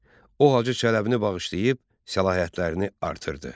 O Hacı Çələbini bağışlayıb səlahiyyətlərini artırdı.